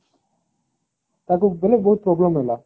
ତାକୁ ମାନେ ବହୁତ problem ହେଲା